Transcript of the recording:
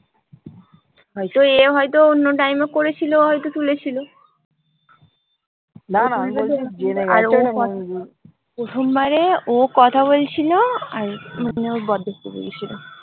হয়তো এ হয়তো অন্য time এ করেছিল হয়তো তুলেছিল? প্রথমবারে ও কথা বলছিলো আর মানে ওর বর দেখতে পেয়েগেছিলো।